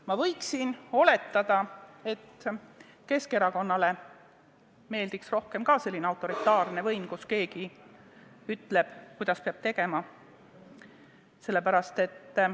Ma võiksin oletada, et Keskerakonnale meeldiks ka rohkem selline autoritaarne võim, mille korral keegi ütleb, kuidas peab tegema.